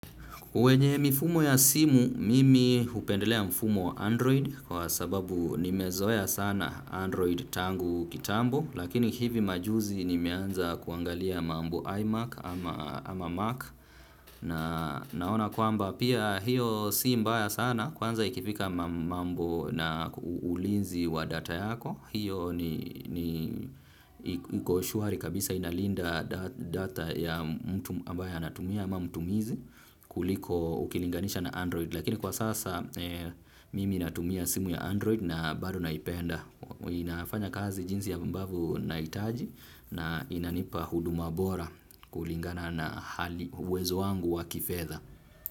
Kwenye mifumo ya simu mimi upendelea mfumo Android kwa sababu nimezoya sana Android tangu kitambo lakini hivi majuzi nimeanza kuangalia mambo iMac ama Mac naona kwamba pia hiyo si mbaya sana kwanza ikifika mambo na ulinzi wa data yako. Hiyo ni koshuari kabisa inalinda data ya mtu ambaye anatumia ama mtumizi kuliko ukilinganisha na android. Lakini kwa sasa mimi natumia simu ya android na bado naipenda. Inafanya kazi jinsi yambavu naitaji na inanipa huduma bora kulingana na uwezo wangu wa kifedha.